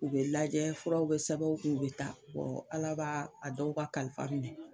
U bɛ lajɛ furaw sɛbɛn u kun u bɛ taa, wɔ Ala b'a a dɔw ka kalifa minɛ.